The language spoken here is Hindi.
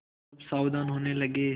सब सावधान होने लगे